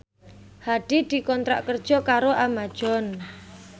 Hadi dikontrak kerja karo Amazon